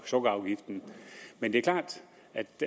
sukkerafgiften det er klart